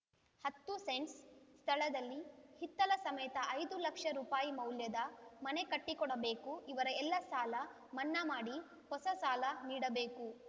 ಹತ್ತು ಸೆಂಟ್ಸ್‌ ಸ್ಥಳದಲ್ಲಿ ಹಿತ್ತಲ ಸಮೇತ ಐದು ಲಕ್ಷ ರು ಮೌಲ್ಯದ ಮನೆ ಕಟ್ಟಿಕೊಡಬೇಕು ಇವರ ಎಲ್ಲ ಸಾಲ ಮನ್ನಾ ಮಾಡಿ ಹೊಸ ಸಾಲ ನೀಡಬೇಕು